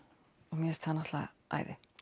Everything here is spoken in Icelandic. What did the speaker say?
og mér finnst það náttúrulega æði